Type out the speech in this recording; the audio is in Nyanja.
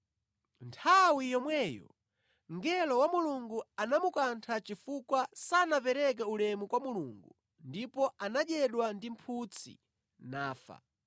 Nthawi yomweyo mngelo wa Mulungu anamukantha chifukwa sanapereke ulemu kwa Mulungu ndipo anadyedwa ndi mphutsi nafa.